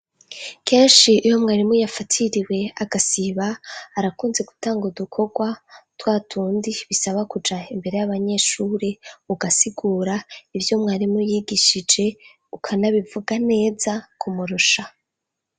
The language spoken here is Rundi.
Kenshi iyo mwarimu yafatiriwe agasiba arakunze gutanga udukorwa twatundi bisaba k'uja imbere y'abanyeshuri ugasigura ivyo umwarimu yigishije ukanabivuga neza kumurusha.